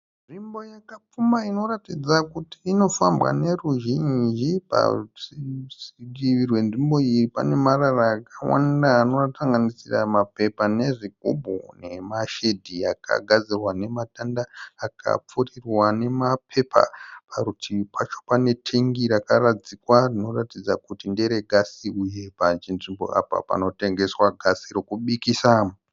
Nzvimbo yakapfumba inoratidza inofambwa neruzhinji. Parutivi rwenzvimbo iyi panemarara akawanda anosanganisira mapepa nezvigubhu. Nemashedhi akagadzirwa nematanda akapfurirwa nemapepa. Parutivipacho panetengi rakaradzikwa rinoratidza kuti nderegasi uye pachinzvimbo apa panotengeswa gasi rekubikisa.